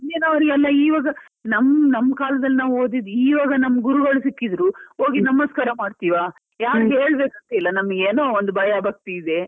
ಮೊದ್ಲಿನವರಿಗೆಲ್ಲ ಇವಾಗ್ ನಮ್ ನಮ್ ಕಾಲದಲ್ಲಿ ನಾವು ಓದಿದ್ದು ಇವಾಗ್ ನಮ್ ಗುರುಗಳು ಸಿಕ್ಕಿದ್ರು ಹೋಗಿ ನಮಸ್ಕಾರ ಮಾಡ್ತೀವಾ ಯಾರು ಹೇಳಬೇಕು ಅಂತ ಇಲ್ಲ. ನಮಿಗೇನೊ ಒಂದ್ ಭಯ ಭಕ್ತಿ ಇದೆ.